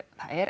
er